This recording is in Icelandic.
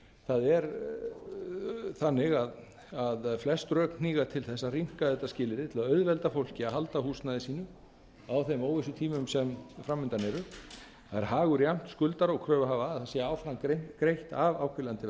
það er þannig að flest rök hníga til þess að rýmka þetta skilyrði til að auðvelda fólki að halda húsnæði sínu á þeim óvissutímum sem fram undan eru það er hagur jafnt skuldara og kröfuhafa að áfram sé greitt af áhvílandi